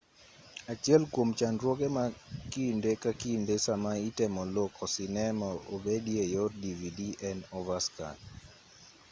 achiel kwom chandruoge ma kinde ka kinde sama itemo loko sinema obedi e yor dvd en overscan